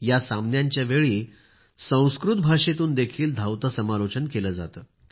या सामन्यांच्या वेळी संस्कृत भाषेतून देखील धावते समालोचन केले जाते